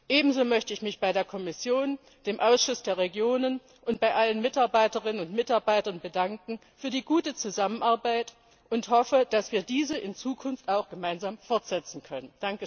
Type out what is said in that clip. Ebenso möchte ich mich bei der Kommission, dem Ausschuss der Regionen und bei allen Mitarbeiterinnen und Mitarbeitern für die gute Zusammenarbeit bedanken und hoffe, dass wir diese in Zukunft auch gemeinsam fortsetzen können.